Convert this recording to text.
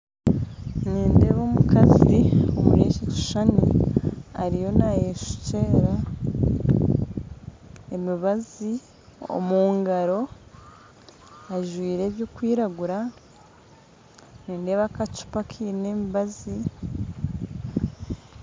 Nindeeba omukazi omuri eki kishushani ariyo naayeshukyera emibazi omu ngaaro ajwire ebirikwiragura nindeeba akacupa akaine emibazi